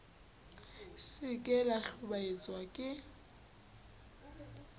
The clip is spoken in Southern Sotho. se ke la ntlhobaetsa ke